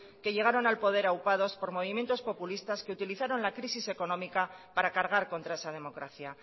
que llegaron al poder aupados por movimientos populista que utilizaron la crisis económica para cargar contra esa democracia